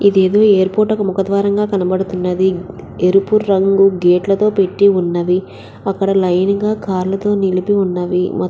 ఇదేదో ఎయిర్పోర్టు యొక్క ముఖ ద్వారం లాగా కనపడుతున్నది. ఎరుపు రంగు గేట్ లతో పెట్టి ఉన్నవి. అక్కడ లైన్ గా కార్ లతో నిలిపి ఉన్నవి.